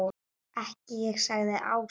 Ekki ég sagði Áslaug.